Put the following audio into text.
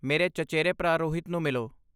ਮੇਰੇ ਚਚੇਰੇ ਭਰਾ ਰੋਹਿਤ ਨੂੰ ਮਿਲੋ।